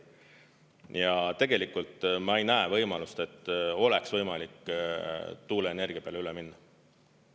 Ja tegelikult ma ei näe võimalust, et oleks võimalik tuuleenergia peale üle minna.